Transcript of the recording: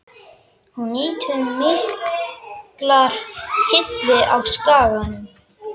Hún nýtur mikillar hylli á Skaganum.